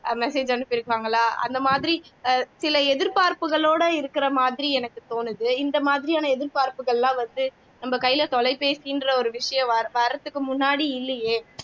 message அனுப்பிருப்பாங்களா அந்த மாதிரி அஹ் சில எதிர்பார்ப்புகளோட இருக்கிற மாதிரி எனக்கு தோணுது இந்த மாதிரியான எதிர்பார்ப்புகள் எல்லாம் வந்து நம்ம கைல தொலைபேசின்ற விஷயம் வர்றதுக்கு முன்னாடி இல்லையே